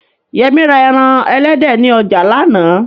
Yẹmí ra ẹran elédè ni ọjà lánàá